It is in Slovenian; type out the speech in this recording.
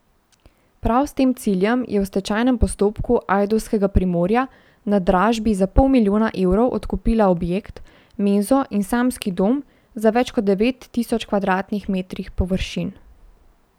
Prav s tem ciljem je v stečajnem postopku ajdovskega Primorja na dražbi za pol milijona evrov odkupila objekt, menzo in samski dom na več kot devet tisoč kvadratnih metrih površin.